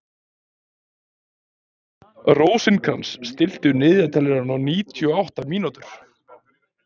Rósinkrans, stilltu niðurteljara á níutíu og átta mínútur.